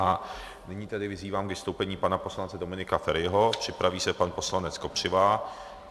A nyní tedy vyzývám k vystoupení pana poslance Dominika Feriho, připraví se pan poslanec Kopřiva.